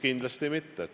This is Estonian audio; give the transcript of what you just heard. Kindlasti mitte.